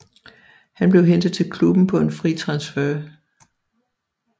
Han blev hentet til klubben på en fri transfer